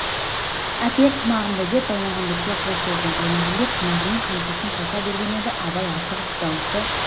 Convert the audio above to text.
әпер тымағымды деп баймағамбетке қол созды баймағамбет тымағы мен қамшысын қоса берген еді абай асығып даусы